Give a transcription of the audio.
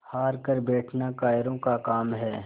हार कर बैठना कायरों का काम है